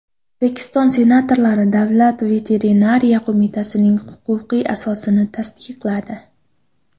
O‘zbekiston senatorlari Davlat veterinariya qo‘mitasining huquqiy asosini tasdiqladi.